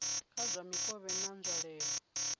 dza kha mikovhe na nzwalelo